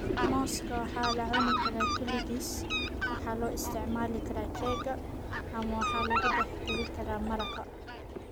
Muuska waxaa la cuni karaa kaligiis, waxaa loo isticmaali karaa keega, ama waxaa lagu dhex dari karaa maraqa.